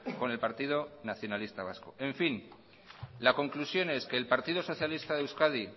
con el partido nacionalista vasco en fin la conclusión es que el partido socialista de euskadi